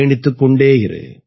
பயணித்துக் கொண்டே இரு